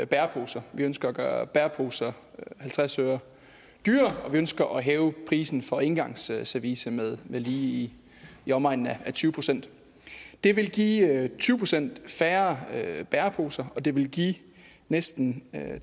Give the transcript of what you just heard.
bæreposer vi ønsker at gøre bæreposer halvtreds øre dyrere og vi ønsker at hæve prisen for engangsservice med lige i omegnen af tyve procent det vil give tyve procent færre bæreposer og det vil give næsten